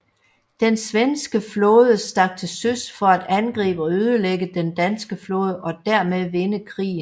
Den svenske flåde stak til søs for at angribe og ødelægge den danske flåde og derved vinde krigen